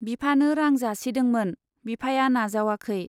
बिफानो रां जासिदोंमोन, बिफाया नाजावाखै।